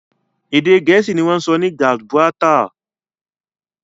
Èdè Gẹ̀ẹ́sì ni wọ́n ń sọ ní Gibraltar